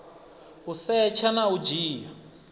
u setsha na u dzhia